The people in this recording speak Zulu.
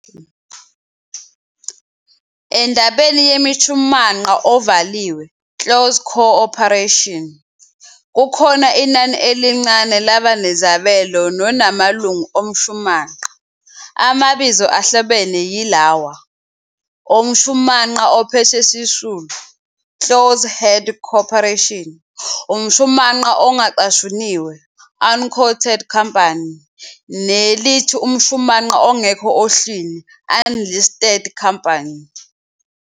Endabeni yemishumanqa ovaliwe, "closed corporation", kukhona inani elincane labanezabelo nona amalungu omshumanqa. Amabizo ahlobene yilawa, umshumanqa ophethwe sisulu, "closely held corporation", umshumanqa ongacashuniwe, "unquoted company", nelithi umshumanqa ongekho ohlwini, "unlisted company".